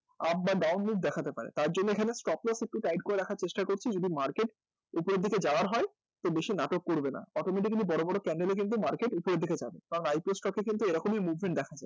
up বা down move দেখাতে পারে, তারজন্য এখানে stop loss একটু tight করে রাখার চেষ্টা করছি, যদি market উপরের দিকে যাওয়ার হয় তো বেশি নাটক করবে না automatically কিন্তু বড় বড় candle এ কিন্তু market উপরের দিকে যাবে এবং IPO stock এ কিন্তু এরকমই movement দেখা যায়